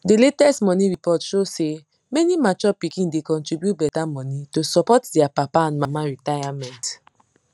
the latest money report show say many mature pikin da contribute better money to support their papa and mama retirement